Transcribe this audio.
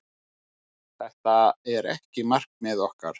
Það er ekki markmið okkar.